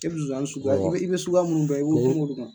I be Nsonsani sukuya, i be sukuya munnu dɔn, i be kuma o de kan.